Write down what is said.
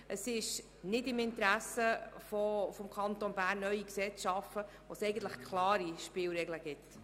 Es liegt nicht im Interesse des Kantons Bern, neue Gesetze zu schaffen, wo bereits klare Spielregeln bestehen.